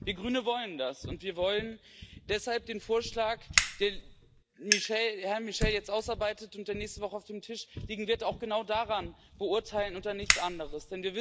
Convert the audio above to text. Wir Grüne wollen das, und wir wollen deshalb den Vorschlag, den Herr Michel jetzt ausarbeitet und der nächste Woche auf dem Tisch liegen wird, auch genau danach beurteilen und nach nichts anderem.